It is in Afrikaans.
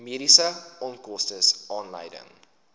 mediese onkoste aanleiding